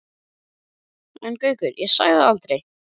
En Gaukur, ég sagði það aldrei